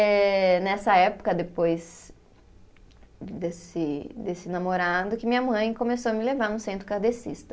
Eh, nessa época, depois desse desse namorado, que minha mãe começou a me levar no centro kardecista.